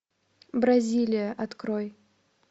бразилия открой